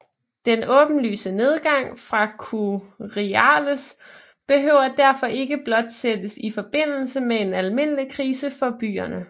Den åbenlyse nedgang for curiales behøver derfor ikke blot sættes i forbindelse med en almindelig krise for byerne